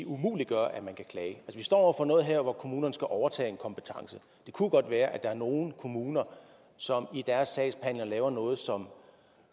umuliggøre at man kan klage vi står over for noget her hvor kommunerne skal overtage en kompetence det kunne godt være at der er nogle kommuner som i deres sagsbehandling laver noget som